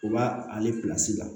U b'a ale la